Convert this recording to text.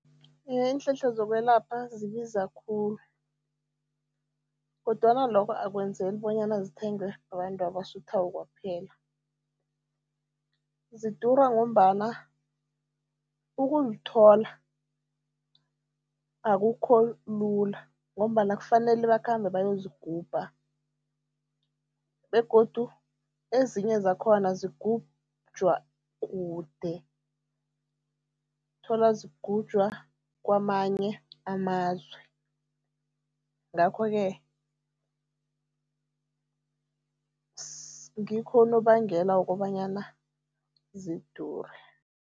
Iye, iinhlahla zokwelapha zibiza khulu kodwana lokho akwenzeli bonyana zithengwe babantu abasuthako kuphela. Zidura ngombana ukuzithola akukho lula ngombana kufanele bakhambe bayozigubha begodu ezinye zakhona zigujwa kude, uthola zigujwa kwamanye amazwe, ngakho-ke ngikho unobangela wokobanyana zidure.